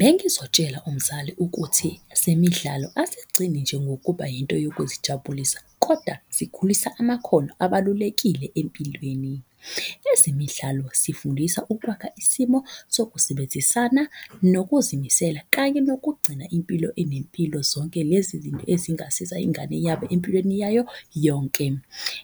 Bengizotshela umzali ukuthi ezemidlalo azigcini nje ngokuba yinto yokuzijabulisa koda zikhulisa amakhono abalulekile empilweni. Ezemidlalo zifundisa ukwakha isimo sokusebenzisana nokuzimisela, kanye nokugcina impilo enempilo. Zonke lezi ezingasiza ingane yabo empilweni yayo yonke.